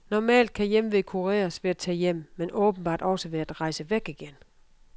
Normalt kan hjemve kureres ved at tage hjem, men åbenbart også ved at rejse væk igen.